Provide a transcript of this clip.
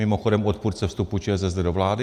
Mimochodem odpůrce vstupu ČSSD do vlády.